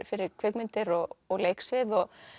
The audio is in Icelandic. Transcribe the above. fyrir kvikmyndir og og leiksvið